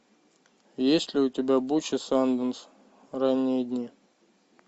есть ли у тебя буч и санденс ранние дни